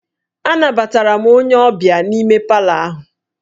Anabatara m onye ọbịa m n'ime palọ ahụ